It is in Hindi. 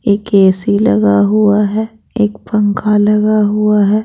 एक ए_सी लगा हुआ है एक पंखा लगा हुआ है।